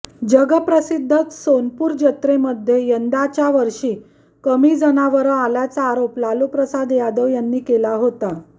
जगप्रसिद्ध सोनपूर जत्रेमध्ये यंदाच्या वर्षी कमी जनावरं आल्याचा आरोप लालूप्रसाद यादव यांनी केला होता